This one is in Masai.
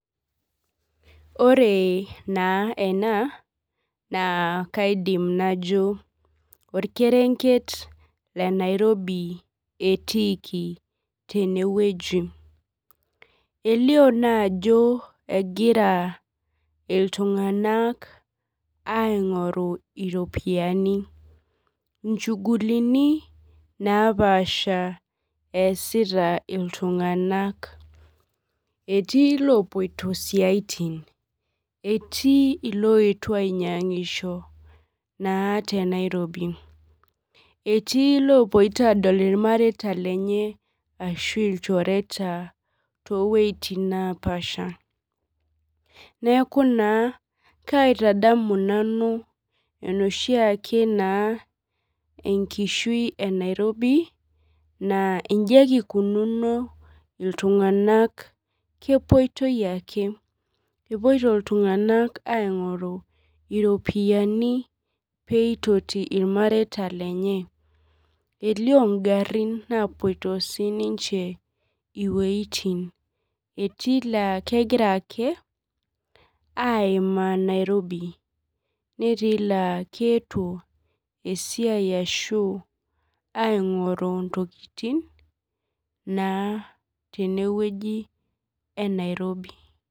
Ore na ena na kaidim najo orkerenket le nairobi etiiki tenewueji elio naa ajo egira ltunganak aingoru ropiyani inchugulinibnapaasha easita ltunganak etii lopoito siatin etii loetuo ainyangisho etii lopoito adil irmareita lenye ashu ilchereta toweitin napaasha neaku na kaitadamu nanu enoshiake enkishui enairobi na inji ake ikununo ltunganak kepoito ake epoito ltunganak aingoru ropiyani peitoti irmareta lenye elio ngarin napoito sininche iweitin etii nakegira ake aimaa nairobi netiu la keetuo esiai ashu aingori ntokikini tenewueji e Nairobi.